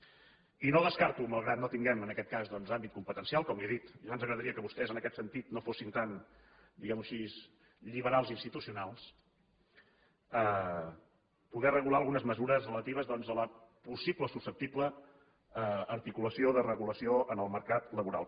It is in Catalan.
i no descarto malgrat que no tinguem en aquest cas doncs àmbit competencial com li he dit ja ens agradaria que vostès en aquest sentit no fossin tan diguem ho així lliberals institucionals poder regular algunes mesures relatives a la possible o susceptible articulació de regulació en el mercat laboral